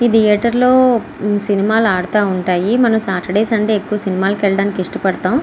ఇది థియేటర్లో సినిమాలు ఆడుతా ఉంటాయి. మనం సాటర్డే సండే ఎక్కువగా సినిమా కి వెళ్లడానికి ఇష్టపడుతూ ఉంటాం.